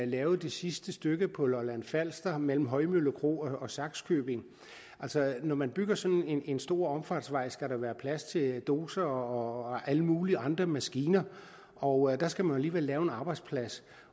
lavede det sidste stykke på lolland falster mellem højmølle kro og sakskøbing når man bygger sådan en stor omfartsvej skal der være plads til dozere og alle mulige andre maskiner og der skal man alligevel lave en arbejdsplads